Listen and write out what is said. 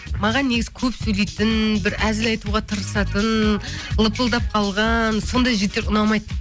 маған негізі көп сөйлейтін бір әзіл айтуға тырысатын лыпылдап қалған сондай жігіттер ұнамайды